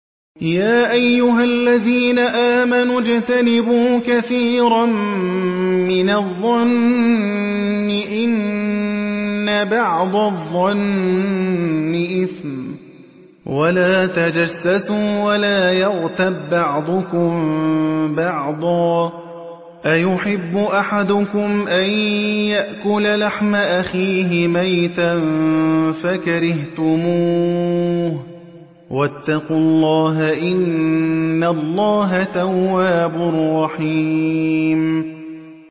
يَا أَيُّهَا الَّذِينَ آمَنُوا اجْتَنِبُوا كَثِيرًا مِّنَ الظَّنِّ إِنَّ بَعْضَ الظَّنِّ إِثْمٌ ۖ وَلَا تَجَسَّسُوا وَلَا يَغْتَب بَّعْضُكُم بَعْضًا ۚ أَيُحِبُّ أَحَدُكُمْ أَن يَأْكُلَ لَحْمَ أَخِيهِ مَيْتًا فَكَرِهْتُمُوهُ ۚ وَاتَّقُوا اللَّهَ ۚ إِنَّ اللَّهَ تَوَّابٌ رَّحِيمٌ